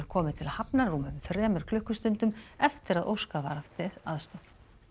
komið til hafnar rúmum þremur klukkustundum eftir að óskað var eftir aðstoð